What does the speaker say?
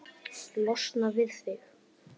Losna við þig?